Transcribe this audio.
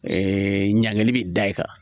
ɲanginili bɛ da i kan